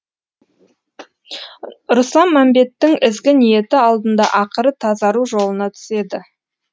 руслан мәмбеттің ізгі ниеті алдында ақыры тазару жолына түседі